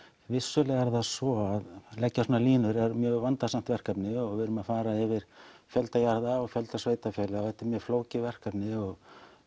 vissulega er það svo að leggja svona línur er vandasamt verkefni og við erum að fara yfir fjölda jarða og fjölda sveitafélaga og þetta er mjög flókið verkefni og